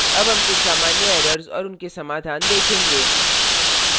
अब हम कुछ सामान्य errors और उनके समाधान देखेंगे